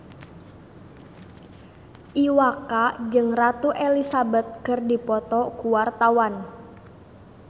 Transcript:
Iwa K jeung Ratu Elizabeth keur dipoto ku wartawan